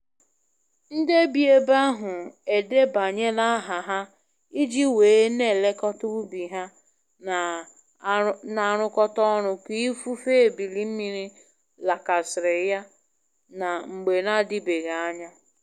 Nde bi ebe ahụ edebanyela aha ha i ji wee n'elekota ubi ha na arụkọta orụ ka ifufe ebili mmiri lakasiri ya na mgbe n'adibeghi anya.